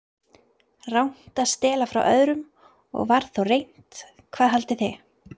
Rangt að stela frá öðrum- og var þó reynt, hvað haldið þið.